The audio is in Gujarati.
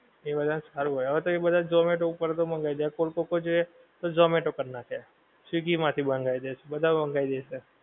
એ બધા ને સારું હોએ હવે તો એ બધાં zomato ઉપર થી મંગાઈ લે હવે cold coco જે તો zomato પર નાખે swiggy માંથી મંગાઈ લે બધાં online અજ છે